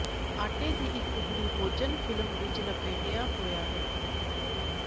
ਆਟੇ ਦੀ ਇੱਕ ਟੁਕੜੀ ਭੋਜਨ ਫਿਲਮ ਵਿੱਚ ਲਪੇਟਿਆ ਹੋਇਆ ਹੈ